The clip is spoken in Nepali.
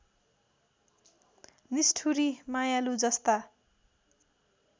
निष्ठुरी मायालु जस्ता